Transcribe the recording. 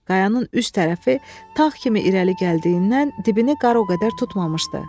Qayanın üst tərəfi tağ kimi irəli gəldiyindən, dibini qar o qədər tutmamışdı.